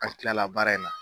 An kilala baara in na.